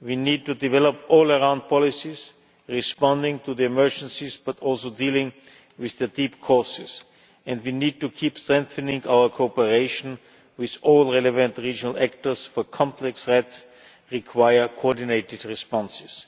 we need to develop all round policies, responding to the emergencies but also dealing with their deep causes and we need to keep strengthening our cooperation with all relevant regional actors, for complex threats require coordinated responses.